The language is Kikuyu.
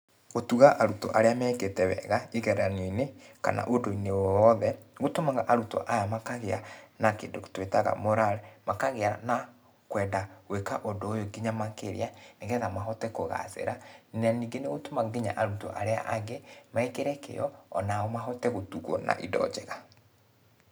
Gũtuga arutwo arĩa mekĩte wega kĩgeranio-inĩ kana ũndũ-inĩ o wothe, nĩ gũtumaga arutwo aya makagĩa na kĩndũ tũĩtaga morale. Makagĩa na kwenda gwĩka ũndũ ũyũ nginya makĩria nĩ getha mahote kũgacĩra. Na ningĩ nĩ gũtũmaga nginya arutwo arĩa angĩ mekĩre kĩo onao mahote gũtugwo na indo njega.